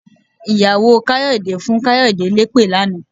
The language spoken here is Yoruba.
Ìyàwó Káyọ̀dé fún Káyọ̀dé lépè lánàá.